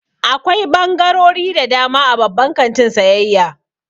Akwai ɓangarori da dama a babban kantin sayayya.